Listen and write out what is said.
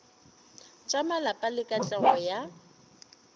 tša malapa le katlego ya